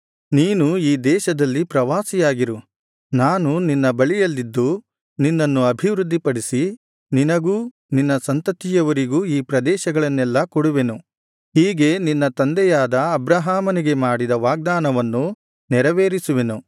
ನೀನು ಈ ದೇಶದಲ್ಲಿ ಪ್ರವಾಸಿಯಾಗಿರು ನಾನು ನಿನ್ನ ಬಳಿಯಲ್ಲಿದ್ದು ನಿನ್ನನ್ನು ಅಭಿವೃದ್ಧಿಪಡಿಸಿ ನಿನಗೂ ನಿನ್ನ ಸಂತತಿಯವರಿಗೂ ಈ ಪ್ರದೇಶಗಳನ್ನೆಲ್ಲಾ ಕೊಡುವೆನು ಹೀಗೆ ನಿನ್ನ ತಂದೆಯಾದ ಅಬ್ರಹಾಮನಿಗೆ ಮಾಡಿದ ವಾಗ್ದಾನವನ್ನು ನೆರವೇರಿಸುವೆನು